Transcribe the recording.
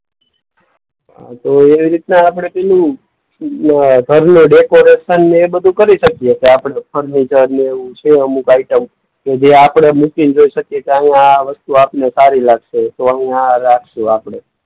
હા તો એ રીતના આપણે પેલું ઘરનું ડેકોરેશન ને એ બધું કરી શકીએ કે આપણે ફર્નિચરને એવું છે અમુક આઈટમ કે જે આપણે મૂકી ને જોઈ શકીએ કે આવું આ વસ્તુ આપણને સારી લાગશે તો આવું આ રાખશું આપણે.